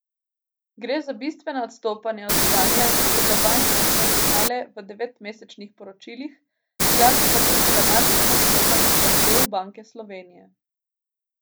Gre za bistvena odstopanja od stanja, ki so ga banke prikazovale v devetmesečnih poročilih, hkrati pa tudi dramatično odstopajo od zahtev Banke Slovenije.